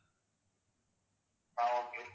ஆஹ் okay